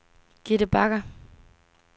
Gitte Bagger